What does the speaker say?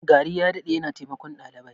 Gari ya dade yana taimakon dalibai.